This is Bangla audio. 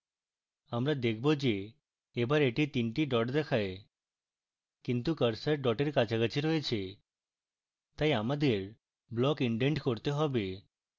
আমরা দেখবো যে এবার এটি তিনটি ডট দেখায় কিন্তু cursor ডটের কাছাকাছি রয়েছে তাই আমাদের ব্লক ইনডেন্ট করতে হবে